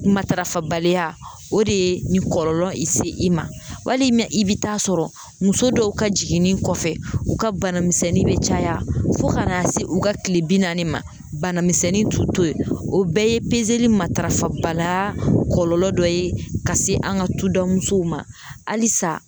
Matarafabaliya o de ye nin kɔlɔlɔ in se i ma, wali mɛ i bɛ taa sɔrɔ muso dɔw ka jiginni kɔfɛ u ka banamisɛnnin bɛ caya fo ka n'a se u ka kile bi naani ma bana misɛnnin t'u to ye o bɛɛ ye pezeli matarafa balaya kɔlɔlɔ dɔ ye ka se an ka tudamusow ma halisa.